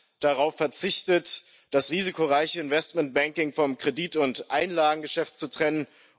Man hat darauf verzichtet, das risikoreiche Investmentbanking vom Kredit und Einlagengeschäft zu trennen.